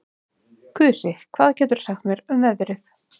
Kusi, hvað geturðu sagt mér um veðrið?